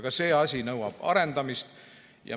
Ka see asi nõuab arendamist.